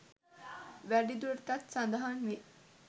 වැඩි දුරටත් සඳහන් වේ.